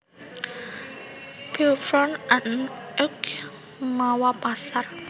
Beuvron en Auge mawa pasar